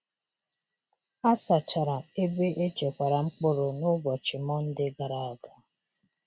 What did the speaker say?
A sachara ebe e chekwara mkpụrụ n’ụbọchị Mọnde gara aga.